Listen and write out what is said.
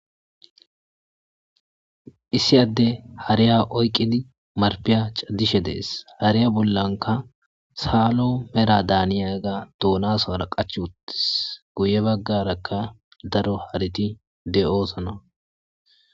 Issi adey hariya oyiqidi naripey chadishe de'es he ade bollanka salo medho daniya dunasara qachi wotis guye bagaraka daro hareti dosona